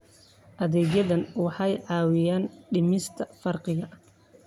Adeegyadani waxay caawiyaan dhimista faqriga.